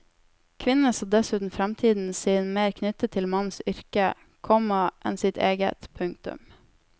Kvinnene så dessuten framtiden sin mer knyttet til mannens yrke, komma enn sitt eget. punktum